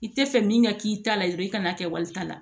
I tɛ fɛ min ka k'i ta la dɔrɔn i kan'a kɛ walita la